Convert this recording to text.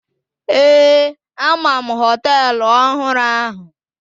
Ee, ama m hoteelu ọhụrụ ahụ.